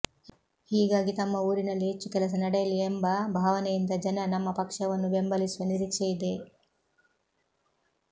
ಹೀಗಾಗಿ ತಮ್ಮ ಊರಿನಲ್ಲಿ ಹೆಚ್ಚು ಕೆಲಸ ನಡೆಯಲಿ ಎಂಬ ಭಾವನೆಯಿಂದ ಜನ ನಮ್ಮ ಪಕ್ಷವನ್ನು ಬೆಂಬಲಿಸುವ ನಿರೀಕ್ಷೆ ಇದೆ